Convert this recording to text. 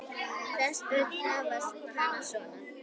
Flest börn hafa hana svona